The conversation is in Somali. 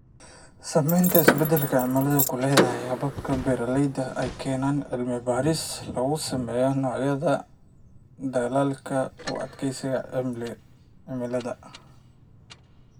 Saamaynta isbeddelka cimiladu ku leedahay hababka beeralayda ayaa keenaya cilmi-baadhis lagu sameeyo noocyada dalagga u adkaysta cimilada.